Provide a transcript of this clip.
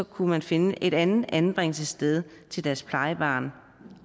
kunne man finde et andet anbringelsessted til deres plejebarn